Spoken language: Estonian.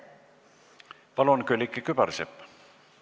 Palun, Külliki Kübarsepp!